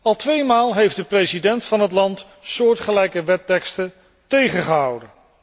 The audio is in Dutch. Al twee maal heeft de president van het land soortgelijke wetteksten tegengehouden.